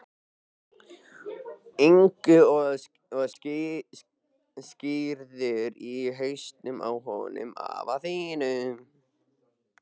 Ingu og skírður í hausinn á honum afa þínum.